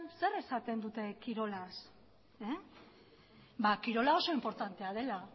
zer esaten duten kirolaz kirola oso inportantea dela